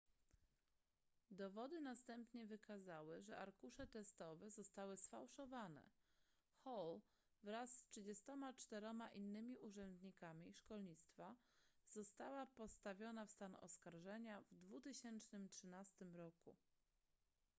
dowody następnie wykazały że arkusze testowe zostały sfałszowane hall wraz z 34 innymi urzędnikami szkolnictwa została postawiona w stan oskarżenia w 2013 roku